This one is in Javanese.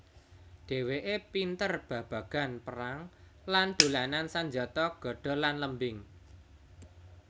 Dhèwèké pinter babagan perang lan dolanan sanjata gada lan lembing